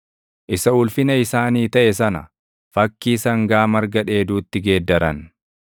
Isa Ulfina isaanii taʼe sana, fakkii sangaa marga dheeduutti geeddaran.